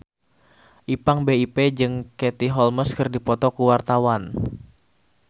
Ipank BIP jeung Katie Holmes keur dipoto ku wartawan